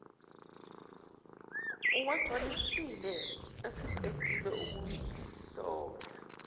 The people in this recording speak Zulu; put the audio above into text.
uwagcwalisile eseqedile ukungihlola